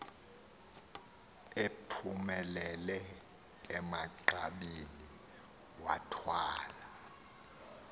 ephumelele emagqabini wathwala